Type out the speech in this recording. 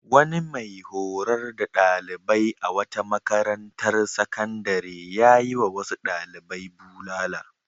Wani mai horar da ɗalibai a wata makarantar sakandare ya yiwa wasu ɗalibai bulala.